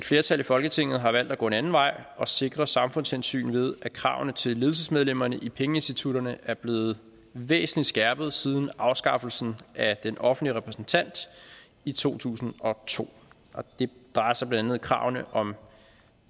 flertal i folketinget har valgt at gå en anden vej at sikre samfundshensyn nemlig ved at kravene til ledelsesmedlemmerne i pengeinstitutterne er blevet væsentlig skærpet siden afskaffelsen af den offentlige repræsentant i to tusind og to det drejer sig blandt andet om kravene om